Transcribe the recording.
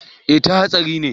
eh ta hatsari ne